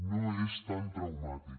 no és tan traumàtic